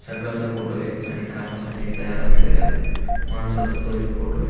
सकाळचा फोटो आहे आणि कामासाठी तयार असलेल्या माणसाचा तो एक फोटो ए.